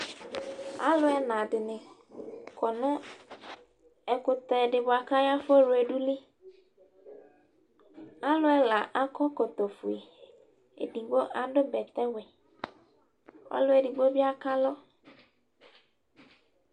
Alʋ ɛna dɩnɩ kɔ nʋ ɛkʋtɛ dɩ bʋa kʋ afɔ wledu yɛ liAlʋ ɛla akɔ ɛkɔtɔ fue, edigbo adʋ bɛtɛ wɛ, ɔlʋ edigboe bɩ ak alʋ